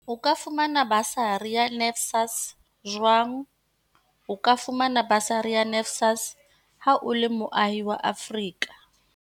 O ka fumana basari ya NSFAS jwang O ka fumana basari ya NSFAS ha o le moahi wa Afrika.